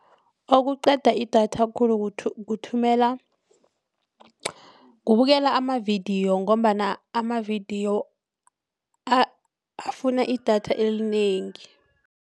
Okuqeda idatha khulu kuthumela kubukela amavidiyo ngombana amavidiyo afuna idatha elinengi.